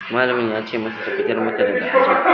Malamin ya ce mata ta fitar masa daga ajin